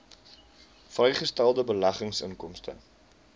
vrygestelde beleggingsinkomste